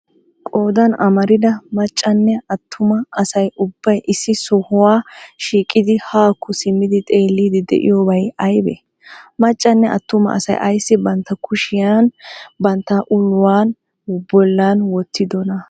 Qoodan amaarida maccaanne attuma asay ubbay issi sohuwa shiiqidi haakko simmidi xeelliydi de'iyobay aybee? Maccanne attumma asay aysi bantta kushiyan bantta uluwaa bollan wottidonaa?